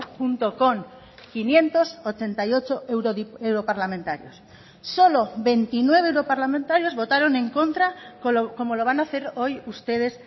junto con quinientos ochenta y ocho europarlamentarios solo veintinueve europarlamentarios votaron en contra como lo van a hacer hoy ustedes